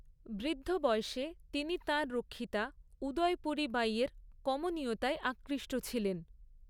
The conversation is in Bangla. বৃদ্ধ বয়সে তিনি তাঁর রক্ষিতা উদয়পুরী বাঈয়ের কমনীয়তায় আকৃষ্ট ছিলেন।